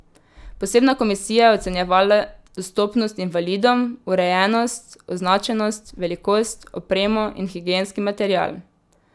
Posebna komisija je ocenjevala dostopnost invalidom, urejenost, označenost, velikost, opremo in higienski material.